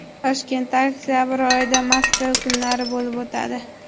Toshkentda oktabr oyida Moskva kunlari bo‘lib o‘tadi.